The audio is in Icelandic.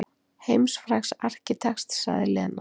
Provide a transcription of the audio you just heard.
Heimsfrægs arkitekts sagði Lena.